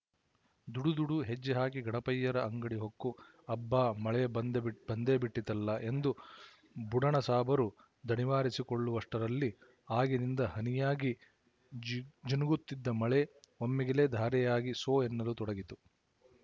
ದುಡುದುಡು ಹೆಜ್ಜೆಹಾಕಿ ಗಣಪಯ್ಯರ ಅಂಗಡಿ ಹೊಕ್ಕು ಅಬ್ಬಾ ಮಳೆ ಬಂದೆ ಬಂದೇಬಿಟ್ಟಿತಲ್ಲ ಎಂದು ಬುಡಣಸಾಬರು ದಣಿವಾರಿಸಿಕೊಳ್ಳುವಷ್ಟರಲ್ಲಿ ಆಗಿನಿಂದ ಹನಿಯಾಗಿ ಜಿ ಜಿನುಗುತ್ತಿದ್ದ ಮಳೆ ಒಮ್ಮಿಗಿಲೇ ಧಾರಿಯಾಗಿ ಸೋ ಎನ್ನಲು ತೊಡಗಿತು